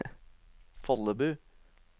Follebu